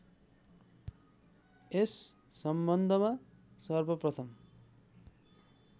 यस सम्बन्धमा सर्वप्रथम